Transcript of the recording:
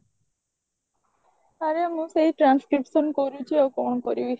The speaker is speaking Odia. ଆରେ ମୁଁ ସେଇ transcription କରୁଚି ଆଉ କଣ କରିବି